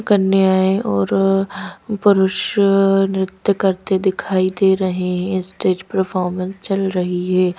कन्याएं और पुरुष नृत्य करते दिखाई दे रहे हैं स्टेज परफॉर्मेंस चल रही है।